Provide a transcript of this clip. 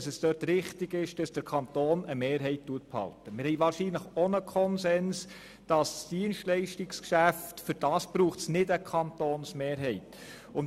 Zudem haben wir vermutlich auch dahingehend einen Konsens, dass es für das Dienstleistungsgeschäft keine Kantonsmehrheit braucht.